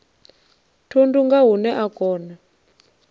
thundu nga hune a kona